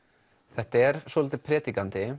þetta er svolítið